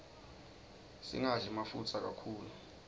singadli mafutsa kakhulu